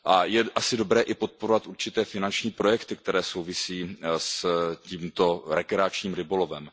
Je asi dobré i podporovat určité finanční projekty, které souvisí s tímto rekreačním rybolovem.